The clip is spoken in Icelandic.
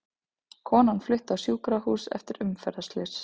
Kona flutt á sjúkrahús eftir umferðarslys